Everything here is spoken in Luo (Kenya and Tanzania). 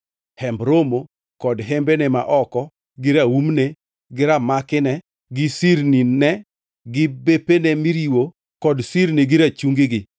“Hemb Romo kod hembene ma oko, gi raumne, gi ramakine, gi sirnine gi bepene miriwo kod sirni gi rachungigi,